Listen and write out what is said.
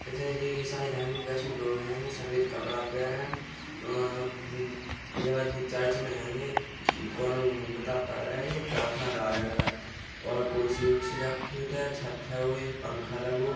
ईसाई सफ़ेद कपड़ा पहरे मम्म लगा जे चर्च में हेंगे कोनू बता पड़ रहा है | प्रार्थना गा रहे लगातार और कुर्सी वुरसी रखी छत पंखा लगो।